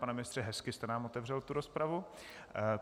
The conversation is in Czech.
Pane ministře, hezky jste nám otevřel tu rozpravu.